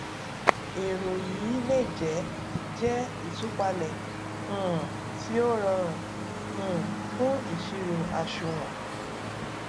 èrò yìí le jẹ jẹ ìtúpalẹ um tí ó rọrùn um fún ìṣirò àṣùwòn